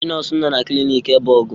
Ndị nọọsụ nọ na cilinc ebe ọgụ.